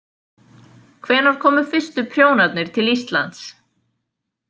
Hvenær komu fyrstu prjónarnir til Íslands?